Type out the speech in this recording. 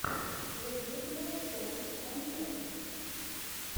зэблюблер соник анимэйшенс